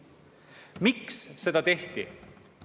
Miks seda tehti?